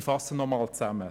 Ich fasse zusammen: